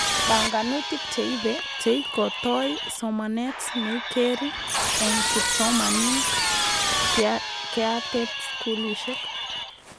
Banganutik cheibe cheikotoi somanet neikeri eng kipsomanink keatebskulishek